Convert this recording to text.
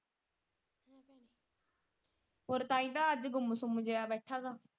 ਹੋਰ ਤਾਹੀਂ ਤਾਂ ਅੱਜ ਗੁੱਮ ਸੁੱਮ ਜੇਹਾ ਬੈਠਾ ਵਾ।